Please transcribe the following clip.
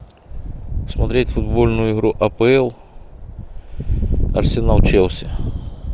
смотреть футбольную игру апл арсенал челси